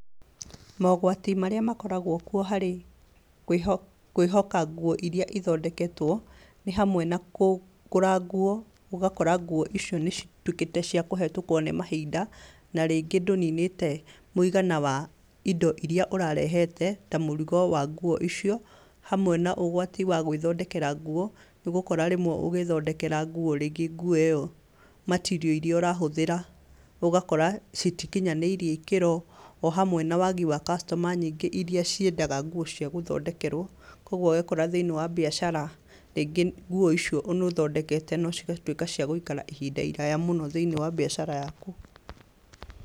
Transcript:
Mogwati marĩa makoragwo kuo harĩ kwĩhoka nguo iria ithondeketwo nĩ hamwe na kũgũra nguo, ũgakora nguo icio nĩ citwĩkĩte cia kũhetũkwo nĩ mahinda na rĩngĩ ndũninĩte mũigana wa indo iria ũrarehete ta mũrigo wa nguo icio hamwe na ũgwati wa gwĩthondekera nguo, nĩũgũkora rĩmwe ũgĩthondekera nguo, rĩngĩ nguo ĩyo matiriũ iria ũrahũthĩra ũgakora citikinyanĩirie ikĩro o hamwe na wagi wa cacitoma nyingĩ iria ciendaga nguo cia gũthondekerwo, kũoguo wekora thĩiniĩ wa mbiacara rĩngĩ nguo icio nĩũthondekete na cigatuĩka cia gũikara ihinda iraya mũno thĩiniĩ wa mbiacara yaku.